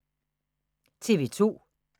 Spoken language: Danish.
TV 2